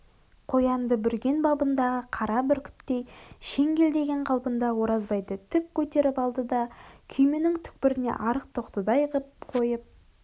қоянды бүрген ба-бындағы қара бүркіттей шеңгелдеген қалпында оразбайды тік көтеріп алды да күйменің түкпіріне арық тоқтыдай қып қойып